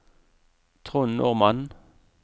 Trond Normann